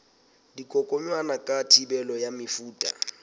dikokwanyana ka thibelo ya mefuta